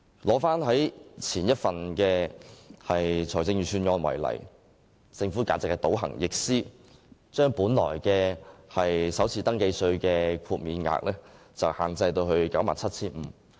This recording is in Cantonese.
以前一份財政預算案為例，政府簡直是倒行逆施，把首次登記稅豁免額限制於 97,500 元。